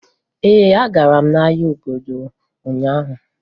Ee, agara m ahịa obodo ụnyaahụ.